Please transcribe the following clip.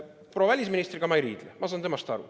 Proua välisministriga ma ei riidle, ma saan temast aru.